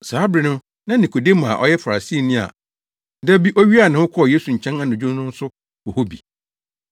Saa bere no na Nikodemo a ɔyɛ Farisini a da bi owiaa ne ho kɔɔ Yesu nkyɛn anadwo no nso wɔ hɔ bi.